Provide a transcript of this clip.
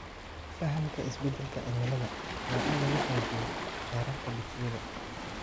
Fahamka isbedelka cimilada waa in lagu xoojiyo heerarka dugsiyada.